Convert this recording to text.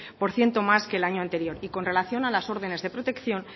por ciento más que el año anterior y con relación a las órdenes de protección